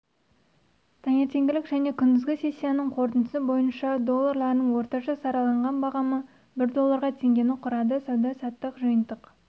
таңертеңгілік және күндізгі сессияның қорытындысы бойынша долларының орташа сараланған бағамы бір долларға теңгені құрады сауда-саттықтың жиынтық